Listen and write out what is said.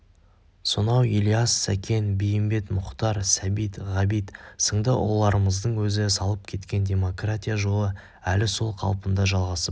сонау ілияс сәкен бейімбет мұхтар сәбит ғабит сынды ұлыларымыздың өзі салып кеткен демократия жолы әлі сол қалпында жалғасып